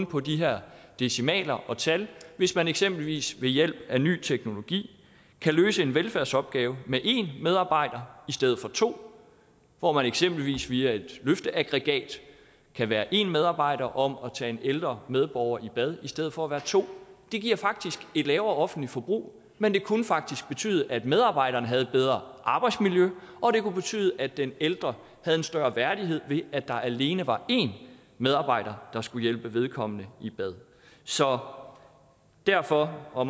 på de her decimaler og tal hvis man eksempelvis ved hjælp af ny teknologi kan løse en velfærdsopgave med én medarbejder i stedet for to hvor man eksempelvis via et løfteaggregat kan være en medarbejder om at tage en ældre medborger i bad i stedet for at være to det giver faktisk et lavere offentligt forbrug men det kunne faktisk betyde at medarbejderen havde et bedre arbejdsmiljø og det kunne betyde at den ældre havde en større værdighed ved at der alene var én medarbejder der skulle hjælpe vedkommende i bad så derfor og